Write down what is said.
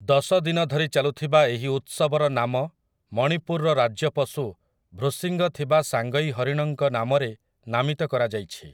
ଦଶ ଦିନ ଧରି ଚାଲୁଥିବା ଏହି ଉତ୍ସବର ନାମ ମଣିପୁରର ରାଜ୍ୟ ପଶୁ ଭ୍ରୂଶିଙ୍ଗ ଥିବା ସାଙ୍ଗଇ ହରିଣଙ୍କ ନାମରେ ନାମିତ କରାଯାଇଛି ।